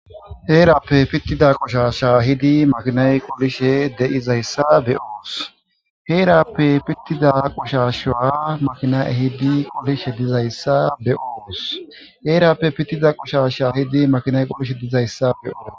Heerappe pittida qushasha hidi makinay qolishe de.izayssa be oos heerappe pittida qushashaa makina ehidi qolishe dizayssa be oooos heerappe pittida qushasha hidi makinay qolishe dizayssa be'oor.'